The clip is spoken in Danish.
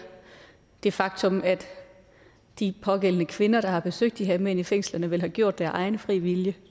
det faktum at de pågældende kvinder der har besøgt de her mænd i fængslerne vel har gjort det af egen fri vilje